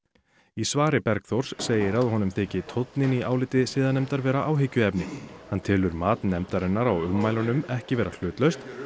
í svari Bergþórs segir að honum þyki tónninn í áliti siðanefndar vera áhyggjuefni hann telur mat nefndarinnar á ummælunum ekki vera hlutlaust